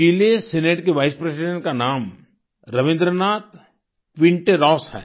चिले senate के vice president का नाम रबिंद्रनाथ क्विन्टेरॉस है